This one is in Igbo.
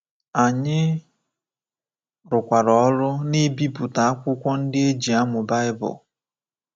Anyị rụkwara ọrụ n’ibipụta akwụkwọ ndị e ji amụ Baịbụl.